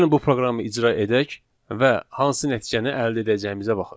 Gəlin bu proqramı icra edək və hansı nəticəni əldə edəcəyimizə baxaq.